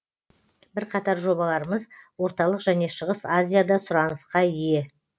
бірқатар жобаларымыз орталық және шығыс азияда сұранысқа ие